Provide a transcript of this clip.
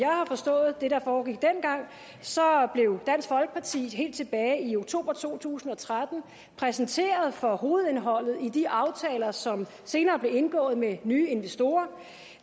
har forstået det der foregik dengang så blev dansk folkeparti helt tilbage i oktober to tusind og tretten præsenteret for hovedindholdet i de aftaler som senere blev indgået med nye investorer